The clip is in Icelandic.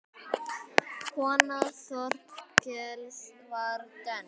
Kona Þorkels var dönsk.